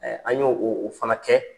an y' o o o fana kɛ